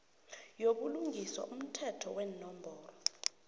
yobulungiswa umthetho wenomboro